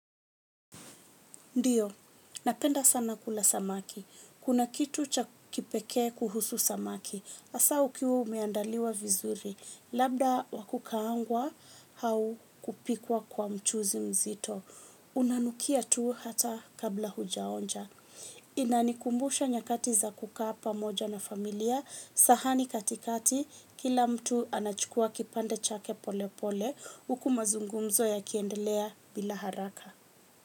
Ndiyo, napenda sana kula samaki. Kuna kitu cha kipekee kuhusu samaki. Asa ukiwa umeandaliwa vizuri. Labda wakukaangwa au kupikwa kwa mchuzi mzito. Inanukia tu hata kabla hujaonja. Inanikumbusha nyakati za kukaa pa moja na familia. Sahani katikati kila mtu anachukua kipande chake pole pole. Uku mazungumzo ya kiendelea bila haraka.